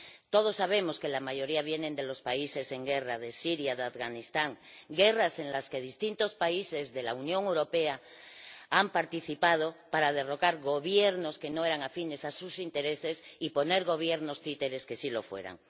Todos sabemos que la mayoría vienen de los países en guerra —de Siria, de Afganistán—, guerras en las que distintos países de la Unión Europea han participado para derrocar Gobiernos que no eran afines a sus intereses y poner Gobiernos títeres que sí lo fueran.